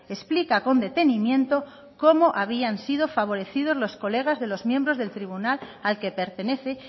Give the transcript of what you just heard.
explica con detenimiento cómo habían sido favorecidos los colegas de los miembros del tribunal al que pertenece